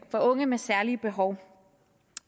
unge med særlige behov